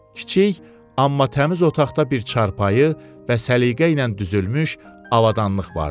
Kiçik, amma təmiz otaqda bir çarpayı və səliqə ilə düzülmüş avadanlıq vardı.